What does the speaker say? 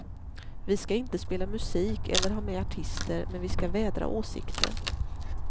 Vi skall inte spela musik eller ha med artister, men vi skall vädra åsikter.